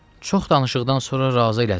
Çox danışıqdan sonra razı elədim.